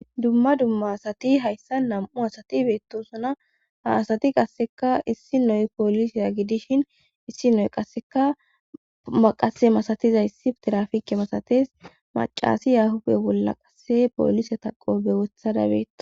dumma dumma asati hayssa nam7u asati beettosuna ha asati qasseka issi noy poolisiya gidishin issi noy qasseka maqase masatiza issi tirafike masates macasi yahuda bolla qasse poolisa taqobe wothada be